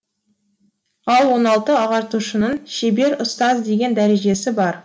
ал он алтыншы ағартушының шебер ұстаз деген дәрежесі бар